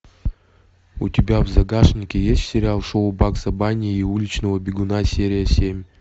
у тебя в загажнике есть сериал шоу багза банни и уличного бегуна серия семь